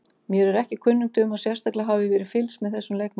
Mér er ekki kunnugt um að sérstaklega hafi verið fylgst með þessum leikmanni.